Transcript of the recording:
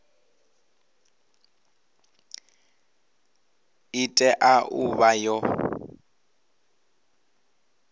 i tea u vha yo